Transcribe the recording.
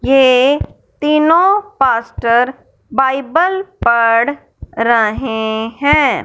ये तीनो pastor Bible पढ़ रहे है।